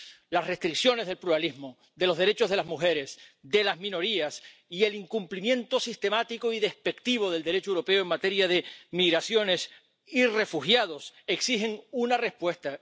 Las restricciones del pluralismo, de los derechos de las mujeres, de las minorías y el incumplimiento sistemático y despectivo del Derecho europeo en materia de migraciones y refugiados exigen una respuesta.